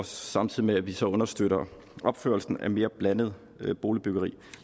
samtidig med at vi så understøtter opførelsen af mere blandet boligbyggeri